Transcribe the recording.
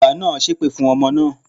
Bàbá naa sẹ́ èpè fún ọmọ naa